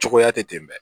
Cogoya tɛ ten dɛ